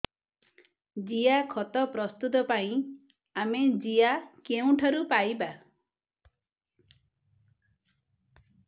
ଜିଆଖତ ପ୍ରସ୍ତୁତ ପାଇଁ ଆମେ ଜିଆ କେଉଁଠାରୁ ପାଈବା